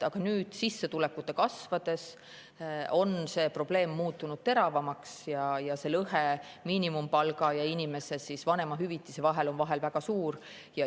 Aga nüüd, sissetulekute kasvades on see probleem muutunud teravamaks – lõhe miinimumpalga ja vanemahüvitise vahel on väga suur.